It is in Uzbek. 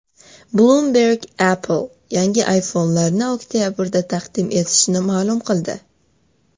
Bloomberg Apple yangi iPhone’larini oktabrda taqdim etishini ma’lum qildi.